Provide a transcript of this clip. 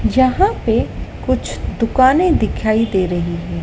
यहां पे कुछ दुकानें दिखाई दे रही है।